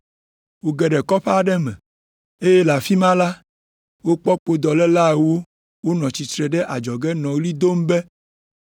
Woge ɖe kɔƒe aɖe me, eye le afi ma la, wokpɔ kpodɔléla ewo wonɔ tsitre ɖe adzɔge nɔ ɣli dom be,